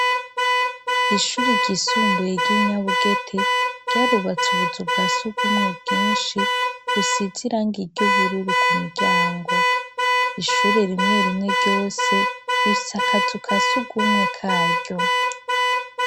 Ishuri ryisumbuye ry'inyabugete ,ryarubatse ubuzu bwa sugumwe bwinshi, busize irangi ry'ubururu ku miryango, ishure rimwe rimwe ryose rifise akazu kasugumwe karyo.